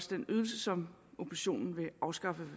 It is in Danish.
den ydelse som oppositionen vil afskaffe